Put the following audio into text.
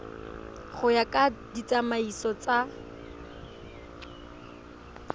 go ya ka ditsamaiso tsa